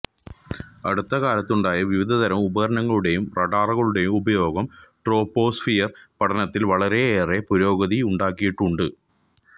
അടുത്തകാലത്തുണ്ടായ വിവിധതരം ഉപകരണങ്ങളുടേയും റഡാറുകളുടേയും ഉപയോഗം ട്രോപോസ്ഫിയർ പഠനത്തിൽ വളരെയേറെ പുരോഗതിയുണ്ടാക്കിയിട്ടുണ്ട്